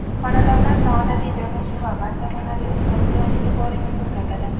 Xonadonlar noodatiy joylashuvi va zamonaviy uslubi bilan e’tiboringizni tortadi.